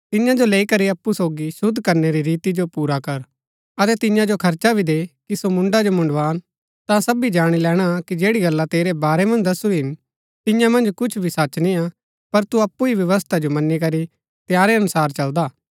तियां जो लैई करी अप्पु सोगी शुद्ध करनै री रीति जो पुरा कर अतै तियां जो खर्चा भी दे कि सो मुण्ड़ा जो मुण्ड़वान ता सबी जाणी लैणा कि जैड़ी गल्ला तेरै बारै मन्ज दसुरी हिन तियां मन्ज कुछ भी सच निय्आ पर तू अप्पु ही व्यवस्था जो मनी करी तंयारै अनुसार चलदा